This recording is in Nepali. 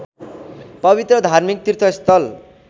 पवित्र धार्मिक तीर्थस्थल